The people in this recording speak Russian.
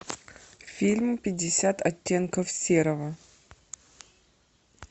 фильм пятьдесят оттенков серого